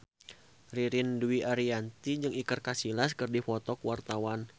Ririn Dwi Ariyanti jeung Iker Casillas keur dipoto ku wartawan